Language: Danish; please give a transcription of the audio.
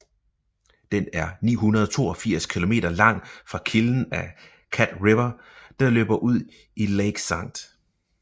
Den er 982 km lang fra kilden af Cat River der løber ud i Lake St